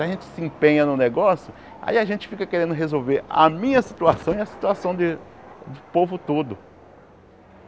Se a gente se empenha num negócio, aí a gente fica querendo resolver a minha situação e a situação de do povo todo.